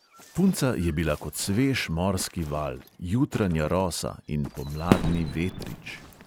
Punca je bila kot svež morski val, jutranja rosa in pomladni vetrič.